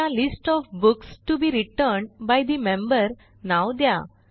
त्याला list OF books TO BE returned by the member नाव द्या